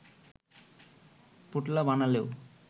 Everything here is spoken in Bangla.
পোঁটলা বানালেও